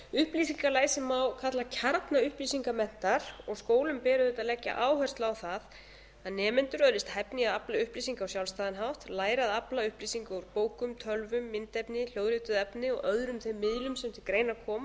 upplýsingalæsi má kalla kjarna upplýsingamenntar skólum ber auðvitað að leggja áherslu á það að nemendur öðlist hæfni í að afla upplýsinga á sjálfstæðan hátt læra að afla upplýsinga úr bókum tölvum myndefni hljóðrituðu efni og öðrum þeim miðlum sem til greina koma